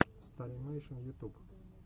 старимэйшн ютуб